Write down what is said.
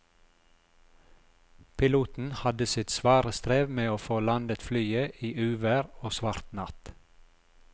Piloten hadde sitt svare strev med å få landet flyet i uvær og svart natt.